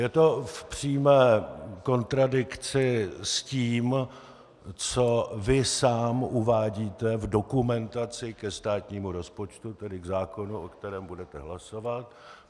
Je to v přímé kontradikci s tím, co vy sám uvádíte v dokumentaci ke státnímu rozpočtu, tedy k zákonu, o kterém budete hlasovat.